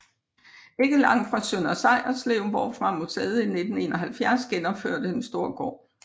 Ikke langt fra Sønder Sejerslev hvorfra museet i 1971 genopførte en stor gård